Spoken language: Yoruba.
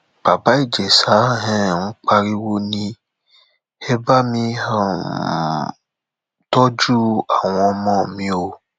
bàbá ìjẹsà um pariwo ni ẹ bá um mi tọjú àwọn ọmọ mi o